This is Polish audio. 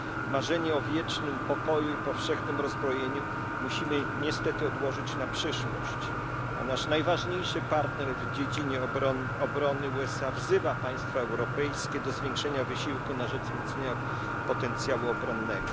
Marzenie o wiecznym pokoju i powszechnym rozbrojeniu musimy niestety odłożyć na przyszłość, a nasz najważniejszy partner w dziedzinie obrony USA wzywa państwa europejskie do zwiększenia wysiłku na rzecz wzmocnienia potencjału obronnego.